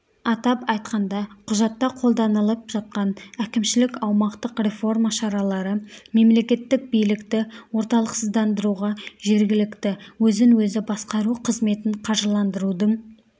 атап айтқанда құжатта қолданылып жатқан әкімшілік-аумақтық реформа шаралары мемлекеттік билікті орталықсыздандыруға жергілікті өзін-өзі басқару қызметін қаржыландырудың